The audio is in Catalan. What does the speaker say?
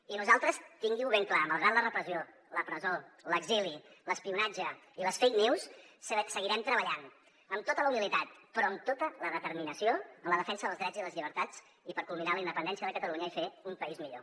i nosaltres tingui ho ben clar malgrat la repressió la presó l’exili l’espionatge i les fake news seguirem treballant amb tota la humilitat però amb tota la determinació en la defensa dels drets i les llibertats i per culminar la independència de catalunya i fer un país millor